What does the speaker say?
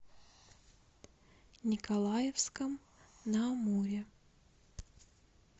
николаевском на амуре